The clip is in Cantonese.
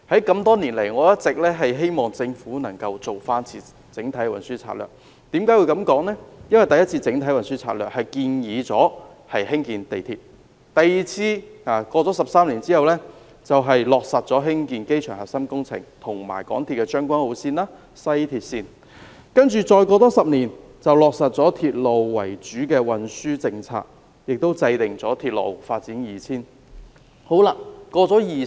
我多年來一直希望政府能夠再進行一次整體運輸研究，因為第一次的整體運輸研究建議興建地鐵 ；13 年後，第二次的整體運輸研究落實興建機場核心工程及港鐵將軍澳線、西鐵線；在再接着的10年，落實了"鐵路為主"的運輸政策，亦制訂了《鐵路發展策略2000》。